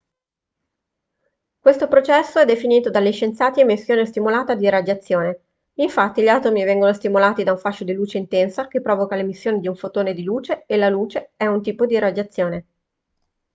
questo processo è definito dagli scienziati emissione stimolata di radiazione infatti gli atomi vengono stimolati da un fascio di luce intensa che provoca l'emissione di un fotone di luce e la luce è un tipo di radiazione